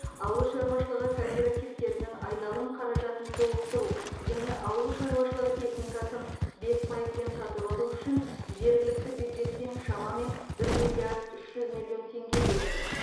ауыл шаруашылығы кооперативтерінің айналым қаражатын толықтыру және ауыл шаруашылығы техникасын бес пайызбен сатып алу үшін жергілікті бюджеттен шамамен бір миллиард үш жүз миллион теңге бөлінді